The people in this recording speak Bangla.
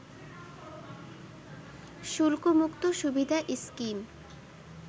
শুল্কমুক্ত সুবিধা স্কিম